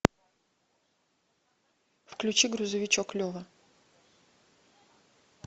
включи грузовичок лева